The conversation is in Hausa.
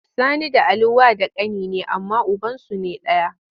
Sani da Ali wa da kani ne amma ubansu ne daya.